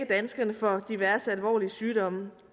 danskerne for diverse alvorlige sygdomme